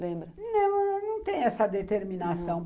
Não, eu não tenho essa determinação.